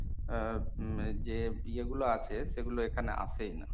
ইয়ে গুলো আছে সেগুলো এখানে আসেই না।